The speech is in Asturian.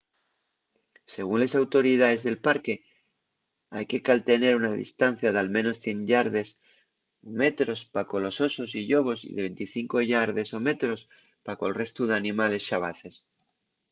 según les autoridaes del parque ¡hai que caltener una distancia d’al menos 100 yardes/metros pa colos osos y llobos y de 25 yardes/metros pa col restu d’animales xabaces!